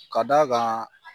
Ka d'a kan